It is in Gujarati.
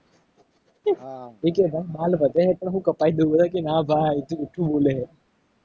એકે ભાઈ બાલ વધે છે. પણ હું કપાવી દઉં. બધા કે નાં ભાઈ તું જુઠું બોલે હે